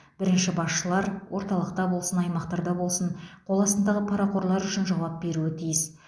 бірінші басшылар орталықта болсын аймақтарда болсын қоластындағы парақорлар үшін жауап беруі тиіс